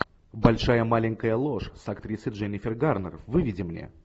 большая маленькая ложь с актрисой дженнифер гарнер выведи мне